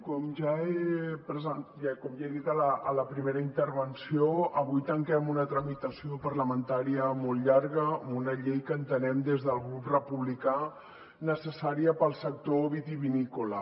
com ja he dit a la primera intervenció avui tanquem una tramitació parlamentària molt llarga amb una llei que entenem des del grup republicà necessària per al sector vitivinícola